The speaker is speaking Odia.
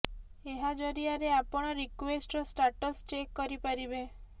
ଏହା ଜରିଆରେ ଆପଣ ରିକ୍ବେଷ୍ଟର ଷ୍ଟାଟସ୍ ଚେକ୍ କରି ପାରିବେ